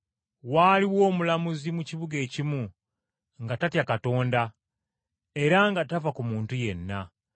“Waaliwo omulamuzi mu kibuga ekimu, nga tatya Katonda era nga tafa ku muntu yenna.